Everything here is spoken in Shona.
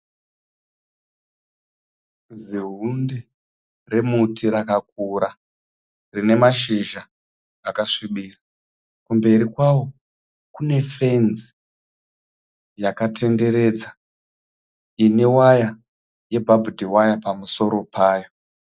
Zihunde re muti rakakura rine mashizha akasvibira kumberi kwawo kune fenzi yakatenderedza ine waya ye bhabhudhi waya pamusoro payo.